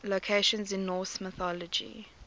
locations in norse mythology